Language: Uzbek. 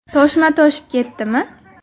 Toshma toshib ketdimi?